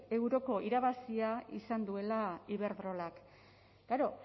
euroko irabazia izan duela iberdrolak claro